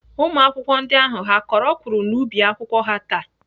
Ụmụakwụkwọ ndị ahụ ha kọrọ ọkwụrụ n'ubi akwụkwọ ha taa?